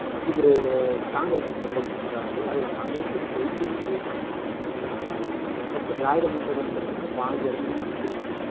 இவரு, காங்கிரஸுக்கு support பண்றாப்டி, அதுல காங்கிரசு ஜெயிச்சதும் போயிட்டாங்க. அப்ப திராவிட முன்னேற்ற கழகம் பார்த்தீங்கன்னா, பாஞ்சு இடம் தான் பிடிச்சிருக்கு